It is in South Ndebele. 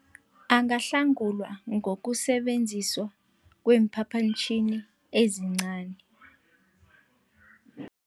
Angahlangulwa ngokusebenziso kweemphaphantjhini ezincani.